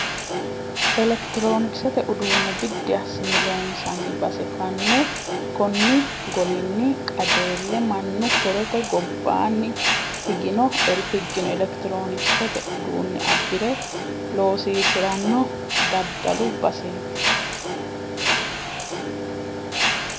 Elekitironkisete uduune biddi assine loonsanni base fane konni golinni qajeele mannu horote gobbani higino elekitironkisete uduune abbire loosiisirano daddalu baseti.